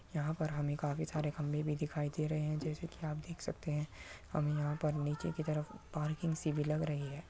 यहाँ पर हमें काफी सारे खम्भे भी दिखाई दे रहे हैंजैसे की आप देख सकते है हम यहाँ पर नीचे की तरफ पार्किंग सी भी लग रही है।